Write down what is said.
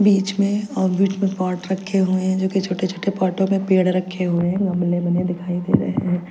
बीच में और बीच में पॉट रखे हुए हैं जो कि छोटे-छोटे पॉटों में पेड़ रखे हुए हैं गमले बने दिखाई दे रहे हैं।